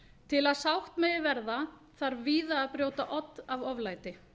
til að sátt megi verða þarf víða að brjóta odd af oflæti